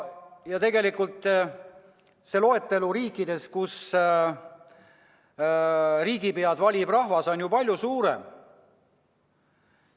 Ja tegelikult see loetelu riikidest, kus riigipead valib rahvas, on ju palju suurem.